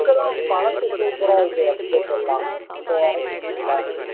look எல்லாம் பழசு super ஆ இருக்குது எல்லாம் இப்போ வர்றது நல்லா இல்லை